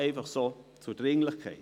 Dies zur Dringlichkeit.